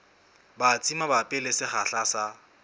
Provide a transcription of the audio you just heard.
batsi mabapi le sekgahla sa